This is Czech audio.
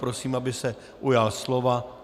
Prosím, aby se ujal slova.